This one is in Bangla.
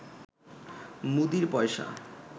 মুদীর পয়সা